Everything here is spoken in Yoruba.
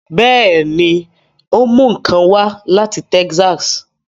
Bẹẹni, o mú nkán wá lati Texas